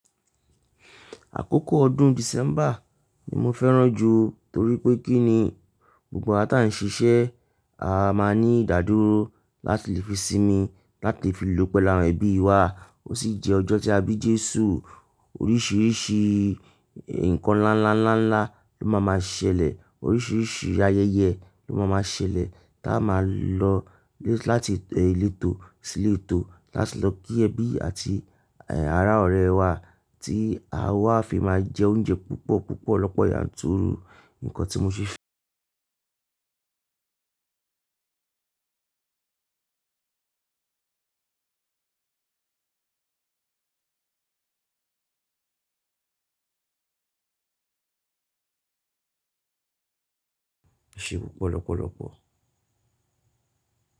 Àkókò ọdún December ni mo fẹ́ràn jù torí pé kí ni gbogbo àw ta ń ṣiṣẹ́, a máa ní ìdádúró láti fi sinmi, láti fi lò pẹ̀lú ẹbí wa. Ó ṣì jẹ́ ọjọ́ tí a bí Jésù. Oríṣìíríṣìí nǹkan ńlá, ńlá, ńlá, ńlá ló máa ma ṣẹlẹ̀. Oríṣìíríṣìí ayẹyẹ ló máa ma ṣẹlẹ̀ tí a máa lọ láti èyí létò sí létò láti lọ kí ẹbí àti, ẹ́, ará ọ̀rẹ́ wá tí a wá fi máa jẹ oúnjẹ púpọ̀, púpọ̀ lọ́pọ̀ yanturu. Nǹkan tí mo ṣe fẹ̀. Ṣe o polopolo po?